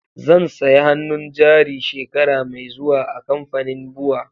Zan saya hannun jari shekara mai zuwa a kamfanin BUA.